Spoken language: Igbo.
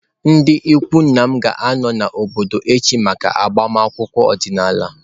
Ndị ikwu nna m ga-anọ n’obodo echi maka agbamakwụkwọ ọdịnala.